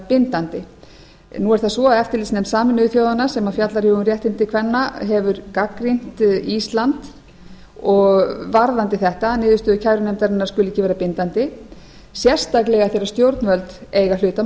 gildandi nú er það svo að eftirlitsnefnd sameinuðu þjóðanna sem fjallar um réttindi kvenna hefur gagnrýnt ísland varðandi þetta að niðurstöður kærunefndarinnar skuli ekki vera bindandi sérstaklega eftir að stjórnvöld eiga hlut að